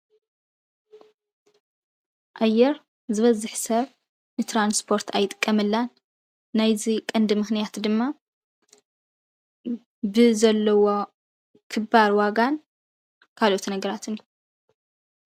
ኣየር ዝበዝሕ ሰብ ንትራንስፖርት ኣይጥቀመላን ናይዚ ቀንዲ ምኽንያት ድማ ብዘለዎ ክባር ዋጋን ካልኦት ነገራትን እዩ፡፡